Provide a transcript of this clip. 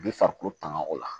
Bi farikolo tanga o la